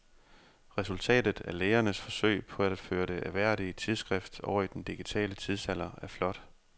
Resultatet af lægernes forsøg på at føre det ærværdige tidsskrift over i den digitale tidsalder er flot.